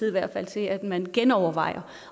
i hvert fald til at man genovervejer